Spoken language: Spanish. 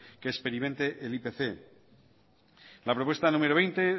que experimente el ipc en la propuesta número veinte